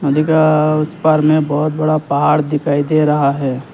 अधिका उस पार में बहोत बड़ा पहाड़ दिखाई दे रहा है।